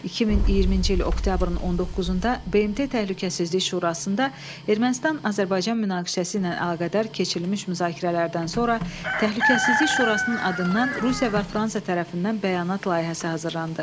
2020-ci il oktyabrın 19-da BMT Təhlükəsizlik Şurasında Ermənistan-Azərbaycan münaqişəsi ilə əlaqədar keçirilmiş müzakirələrdən sonra Təhlükəsizlik Şurasının adından Rusiya və Fransa tərəfindən bəyanat layihəsi hazırlandı.